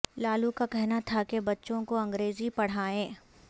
لالو کا کہنا تھا کہ بچوں کو انگریزی پڑھائیں